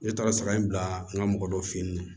Ne taara sara in bila n ka mɔgɔ dɔ fe yen nɔ